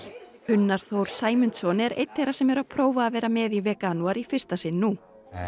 Unnar Þór Sæmundsson er einn þeirra sem eru að prófa að vera með í veganúar í fyrsta sinn nú